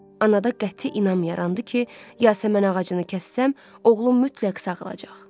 Anada qəti inam yarandı ki, Yasəmən ağacını kəssəm, oğlum mütləq sağalacaq.